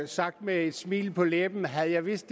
sagt med et smil på læben havde jeg vidst